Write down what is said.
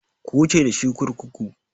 Ku wuce dashi kurkuku!